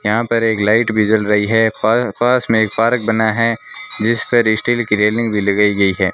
यहां पर एक लाइट भी जल रही है पर पास में एक पार्क बना है जिस पर स्टील की रेलिंग भी लगाई गई है।